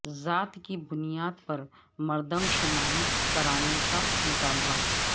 ذات کی بنیاد پر مردم شماری کرانے کا مطالبہ